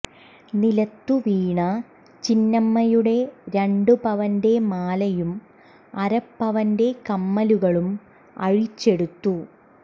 നിലത്തു വീണ ചിന്നമ്മയുടെ രണ്ട് പവന്റെ മാലയും അര പവന്റെ കമ്മലുകളും അഴിച്ചെടുത്തു